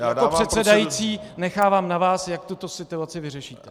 Pane předsedající, nechávám na vás, jak tuto situaci vyřešíte.